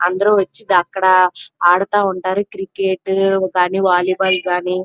అందరూ వచ్చి అక్కడ ఆడుతా ఉంటారు క్రికెట్ గని వాలీబాల్ గాని --